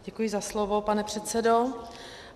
Děkuji za slovo, pane předsedo.